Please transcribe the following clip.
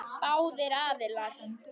Báðir aðilar.